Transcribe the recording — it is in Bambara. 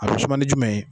A bɛ suma ni jumɛn ye